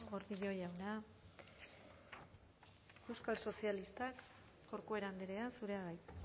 gordillo jauna euskal sozialistak corcuera andrea zurea da hitza